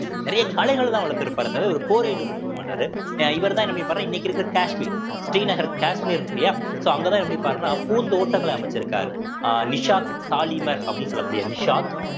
நிறைய கலைகள்தான் வளர்த்திருப்பாரே தவிர இவர் போரே ஈடுபட்டிருக்க மாட்டாரு இவர்தான் என்ன பண்ணிருப்பார்ன்னா இன்னைக்கு இருக்கிற காஷ்மீர் ஸ்ரீநகர் காஷ்மீர் இருக்கில்லையா so அங்கதான் என்ன பண்ணிருப்பார்ன்னா பூந்தோட்டங்களை அமைச்சிருக்காரு அஹ் நிஷாத் தாலிமர் அப்படின்னு சொல்லக்கூடிய நிஷாத்